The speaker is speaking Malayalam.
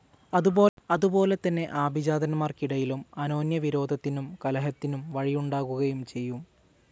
അതുപോലെതന്നെ ആഭിജാതന്മാർക്കിടയിലും അനോന്യവിരോധത്തിനും കലഹത്തിനും വഴിയുണ്ടാകുകയും ചെയ്യും.